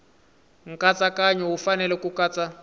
nkatsakanyo wu fanele ku katsa